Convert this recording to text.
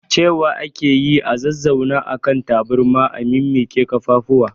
Cewa ake yi a zazzauna a kan taburma a mimmiƙwe kafafu